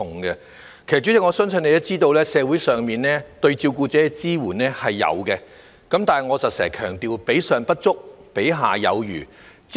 代理主席，我相信你也知道，社會上對照顧者的支援是有的，但如我經常強調，比上不足，比下有餘。